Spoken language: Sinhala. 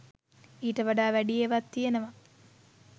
ඊට වඩා වැඩි ඒවත් තියනවා